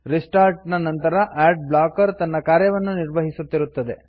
restart ನ ನಂತರ ad blocker ತನ್ನ ಕಾರ್ಯವನ್ನು ನಿರ್ವಹಿಸುತ್ತಿರುತ್ತದೆ